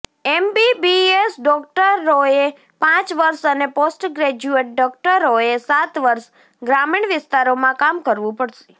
MBBS ડોકટરોએ પાંચ વર્ષ અને પોસ્ટ ગ્રેજ્યુએટ ડોકટરોએ સાત વર્ષ ગ્રામીણ વિસ્તારોમાં કામ કરવું પડશે